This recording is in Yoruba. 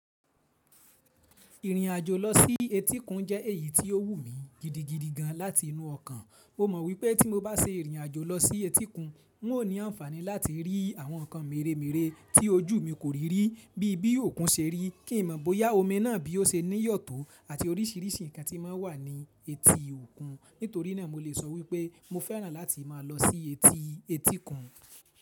Ìrìn àjò lọ sí etíkun jẹ́ èyí tí ó wù mí gidigidi gan láti inú ọkàn. Mo mọ̀ wípé tí mo bá se ìrìn àjò lọ sí etíkun, n o ní àǹfàní láti rí àwọn nǹkan mèremère tí ojú mi kò rí rí bíi bí òkun ṣe rí, kí n mọ̀ bóyá omi náà bí ó ṣe níyọ̀tọ́ àti orísìírísìí nǹkan tí ma ń wà ní etí òkun. Nítorí náà mo le sọ wípé mo fẹ́ràn láti máa lọ sí etí etíkun.